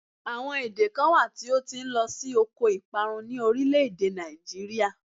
Àwọn èdè kan wà tó ti ń lọ sí oko ìparun ni orílé-èdè Nigeria